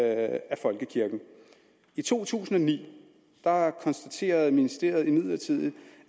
af folkekirken i to tusind og ni konstaterede ministeriet imidlertid